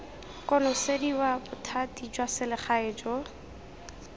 konosediwa bothati jwa selegae jo